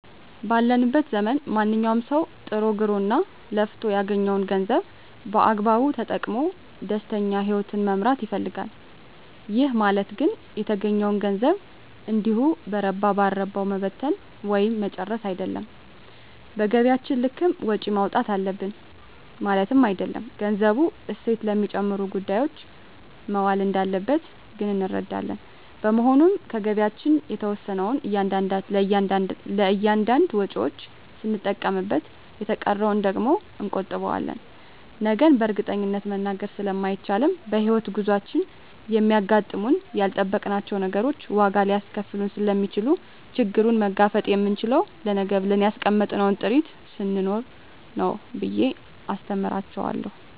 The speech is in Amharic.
ባለንበት ዘመን ማንኛዉም ሰዉ ጥሮ ግሮእና ለፍቶ ያገኘዉን ገንዘብ በአግባቡ ተጠቅሞ ደስተኛ ህይወትን መምራት ይፈልጋል ይህ ማለት ግን የተገኘዉን ገንዘብ እንዲሁ በረባ ባረባዉ መበተን ወይም መርጨት አይደለም በገቢያችን ልክም ወጪ ማዉጣት አለብን ማለትም አይደለም ገንዘቡ እሴት ለሚጨምሩ ጉዳዮች መዋል እንዳለበት ግን እንረዳለን በመሆኑም ከገቢያችን የተወሰነዉን ለእያንዳንድ ወጪዎች ስንጠቀምበት የተቀረዉን ደግሞ እንቆጥበዋለን ነገን በእርግጠኝነት መናገር ስለማይቻልም በሕይወት ጉዟችን የሚያጋጥሙን ያልጠበቅናቸዉ ነገሮች ዋጋ ሊያስከፍሉን ስለሚችሉ ችግሩን መጋፈጥ የምንችለዉ ለነገ ብለን ያስቀመጥነዉ ጥሪት ስኖረን ነዉ ብየ አስተምራቸዋለሁ